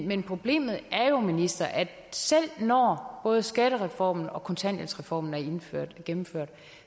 men problemet er jo minister at selv når både skattereformen og kontanthjælpsreformen er gennemført gennemført